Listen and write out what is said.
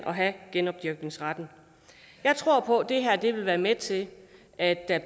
have genopdyrkningsretten jeg tror på at det her vil være med til at der